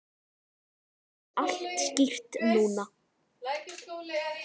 Þetta er allt skýrt núna.